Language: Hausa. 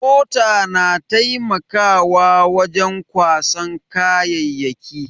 Mota na taimakawa wajen kwasan kayayyaki.